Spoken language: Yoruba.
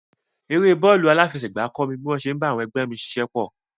Eré bọ́ọ̀lù aláfẹsẹ̀gbá kọ́ mi bí wọ́n ṣe ń bá àwọn ẹgbẹ́ mi ṣiṣẹ́pọ̀.